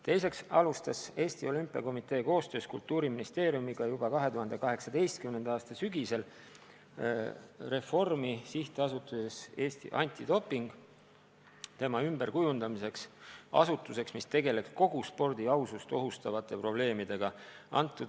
Teiseks alustas Eesti Olümpiakomitee koostöös Kultuuriministeeriumiga juba 2018. aasta sügisel reformi SA-s Eesti Antidoping, et kujundada see ümber asutuseks, mis tegeleks kogu spordi ausust ohustavate probleemidega.